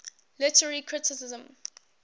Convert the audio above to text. literary criticism